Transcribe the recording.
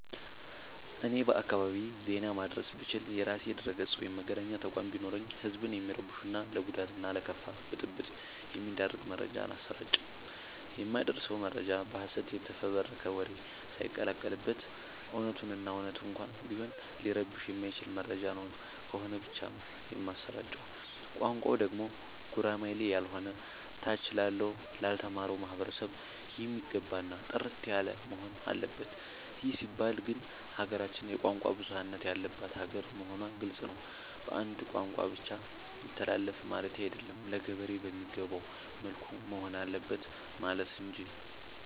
እኔ በአካባቢዬ ዜና ማድረስ ብችል። የራሴ ድረገፅ ወይም መገናኛ ተቋም ቢኖረኝ ህዝብን የሚረብሹ እና ለጉዳት እና ለከፋ ብጥብ የሚዳርግ መረጃ አላሰራጭም። የማደርሰው መረጃ በሀሰት የተፈበረከ ወሬ ሳይቀላቀል በት እውነቱን እና እውነት እንኳን ቢሆን ሊረብሸው የማይችል መረጃ ነው ከሆነ ብቻ ነው የማሰራጨው። ቋንቋው ደግሞ ጉራማይሌ ያሎነ ታች ላለው ላልተማረው ማህበረሰብ የሚገባ እና ጥርት ያለወሆን አለበት ይህ ሲባል ግን ሀገራችን የቋንቋ ብዙሀለት ያለባት ሀገር መሆኗ ግልፅ ነው። በአንድ ቋንቋ ብቻ ይተላለፍ ማለቴ አይደለም ለገበሬ በሚገባው መልኩ መሆን አለበት ማለት እንጂ።